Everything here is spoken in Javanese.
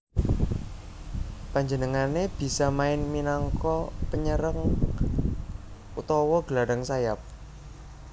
Panjenengané bisa main minangka penyerang utawa gelandang sayap